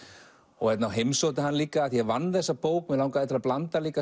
og heimsótti hann líka af því ég vann þessa bók mig langaði til að blanda